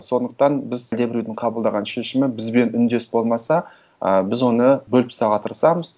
сондықтан біз сізге біреудің қабылдаған шешімі бізбен үндес болмаса ы біз оны бөліп тастауға тырысамыз